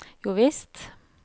jovisst